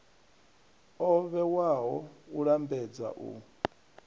o vhewaho u lambedza u